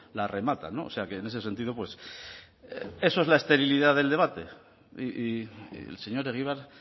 la rematan o sea que en ese sentido pues eso es la esterilidad del debate y el señor egibar